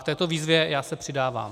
K této výzvě já se přidávám.